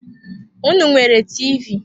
Unu enwere TV?